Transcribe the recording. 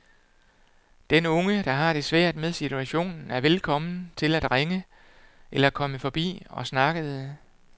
Den unge, der har det svært med situationen, er velkommen til at ringe eller komme forbi og snakkede.